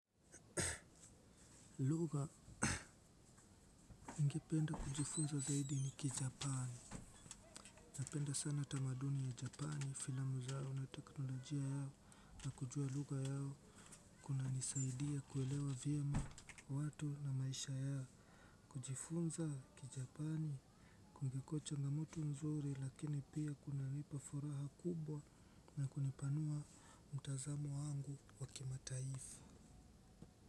Lugha ningependa kujifunza zaidi ni ki japani. Napenda sana tamaduni ya japani filamu zao na teknolojia yao na kujua lugha yao. Kunanisaidia kuelewa vyema watu na maisha yao. Kujifunza ki japani kungekucha na mtu mzuri lakini pia kuna nipa furaha kubwa na kunipanua mtazamo wangu wa kimataifa.